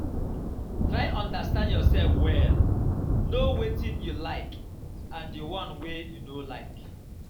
try understand your self well know wetin you like and di one wey you no like